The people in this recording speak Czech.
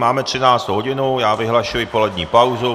Máme 13. hodinu, já vyhlašuji polední pauzu.